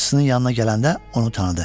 Bacısinin yanına gələndə onu tanıdı.